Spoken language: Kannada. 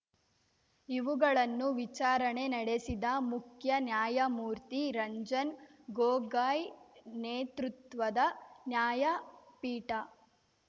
ಇವುಗಳನ್ನು ವಿಚಾರಣೆ ನಡೆಸಿದ ಮುಖ್ಯ ನ್ಯಾಯಮೂರ್ತಿ ರಂಜನ್‌ ಗೊಗಾಯ್‌ ನೇತೃತ್ವದ ನ್ಯಾಯಪೀಠ